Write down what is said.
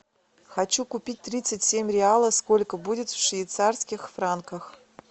хочу купить тридцать семь реалов сколько будет в швейцарских франках